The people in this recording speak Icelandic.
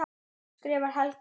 skrifar Helgi.